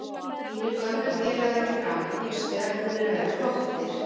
Mínir gömlu félagar í Fram hinsvegar búnir að vera flottir.